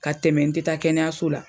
Ka tɛmɛ n tɛ taa kɛnɛyaso la.